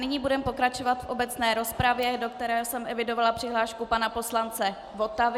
Nyní budeme pokračovat v obecné rozpravě, do které jsem evidovala přihlášku pana poslance Votavy.